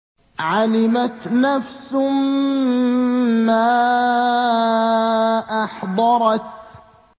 عَلِمَتْ نَفْسٌ مَّا أَحْضَرَتْ